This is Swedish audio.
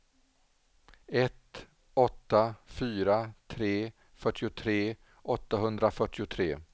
ett åtta fyra tre fyrtiotre åttahundrafyrtiotre